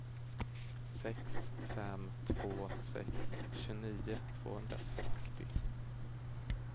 sex fem två sex tjugonio tvåhundrasextio